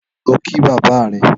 Lọ kí bàbà rẹ̀